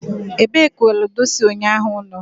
ebee ka ludo si unyahu no?